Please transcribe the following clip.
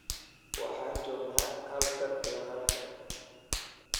Waxaan joognaa halkan iyo halkan.